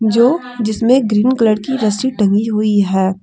जो जिसमें green colour की रस्सी टंगी हुई है।